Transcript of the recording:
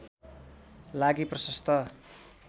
लागि प्रशस्त